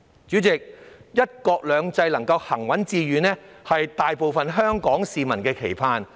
主席，"一國兩制"行穩致遠，是大部分香港市民的盼望。